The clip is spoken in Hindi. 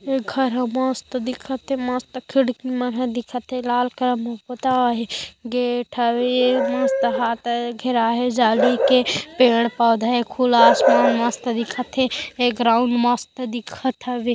ए घर हे मस्त दिखत हे मस्त खिड़की देखत हे लाल कलर पोता हे गेट हावे मस्त घेरा हे जाली के पेड़ पौधा हे खुला आसमान हे मस्त देखत हावे।